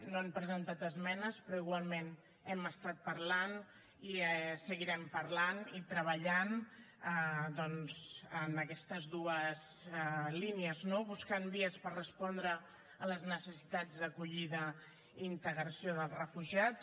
no han presentat esmenes però igualment n’hem estat parlant i en seguirem parlant i treballant doncs en aquestes dues línies no buscant vies per respondre a les necessitats d’acollida i integració dels refugiats